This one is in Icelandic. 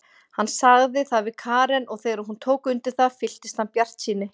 Hann sagði það við Karen og þegar hún tók undir það fylltist hann bjartsýni.